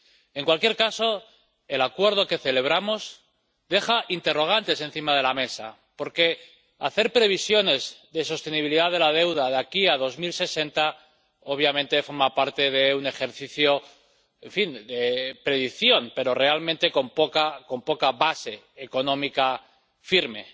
En cualquier caso, el Acuerdo que celebramos deja interrogantes encima de la mesa, porque hacer previsiones de sostenibilidad de la deuda de aquí a 2060 obviamente forma parte de un ejercicio, en fin, de predicción, pero realmente con poca base económica firme.